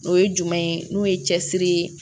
O ye jumɛn ye n'o ye cɛsiri ye